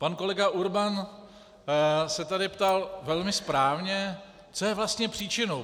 Pan kolega Urban se tady ptal velmi správně, co je vlastně příčinou.